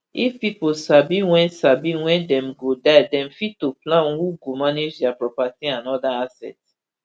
if pipo sabi wen sabi wen dem go die dem fit to plan who go manage dia property and oda assets